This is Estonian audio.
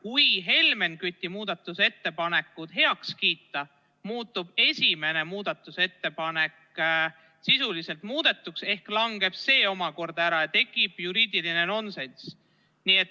Kui Helmen Küti muudatusettepanekud heaks kiita, muutub esimene muudatusettepanek sisuliselt muudetuks ehk see langeb ära ja tekib juriidiline nonsenss.